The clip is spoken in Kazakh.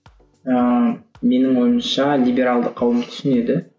ыыы менің ойымша либералды қауым түсінеді